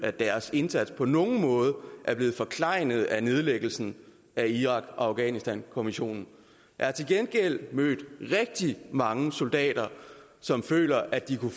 at deres indsats på nogen måde er blevet forklejnet af nedlæggelsen af irak og afghanistankommissionen jeg har til gengæld mødt rigtig mange soldater som føler at de kunne